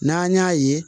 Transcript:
N'an y'a ye